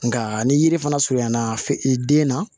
Nka ni yiri fana surunyana i den na